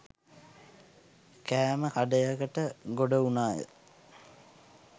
කෑම කඩයකට ගොඩ වුණාය